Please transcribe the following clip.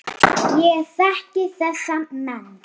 Ég þekki þessa menn.